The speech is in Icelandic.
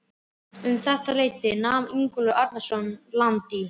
Um þetta leyti nam Ingólfur Arnarson land í